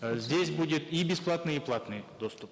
э здесь будет и бесплатный и платный доступ